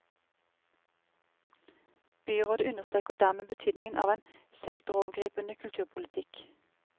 Byrådet understreker dermed betydningen av en sektorovergripende kulturpolitikk.